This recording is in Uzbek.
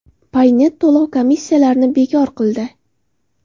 Paynet to‘lov komissiyalarini bekor qildi .